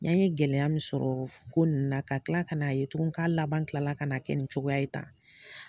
Yan ye gɛlɛya min sɔrɔ ko ninnu na ka tila kan'a ye tugun ka laban kila la kan'a kɛ nin cogoya ye tan.